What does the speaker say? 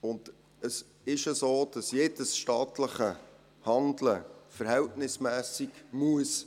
Zudem ist es so, dass jedes staatliche Handeln verhältnismässig sein muss.